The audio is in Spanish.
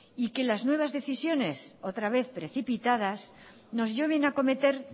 y que las nuevas decisiones otra vez precipitadas nos lleven a cometer